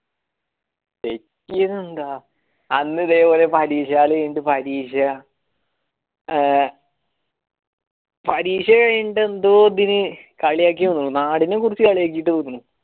തെറ്റിയെതെന്താ അന്നും ഇതേ പോലെ പരീക്ഷ hall കൈനീട്ട പരീക്ഷ ഏർ പരീക്ഷ കൈനീട്ട എന്തോ ഇതിന് കളിയാകെനെന്നു നാടിനെ കുറിച്ചിട്ട് കളിയാകിട്ടൊന്നു